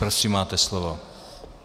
Prosím, máte slovo.